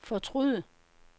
fortryd